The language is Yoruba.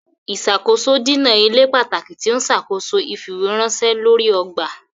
Ìṣàkóso dínà ilé pàtàkì tí ọ n ṣàkóso ifiweranṣẹ lórí ọgbà.